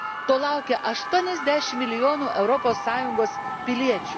To laukia 80 milijonų Europos Sąjungos piliečių.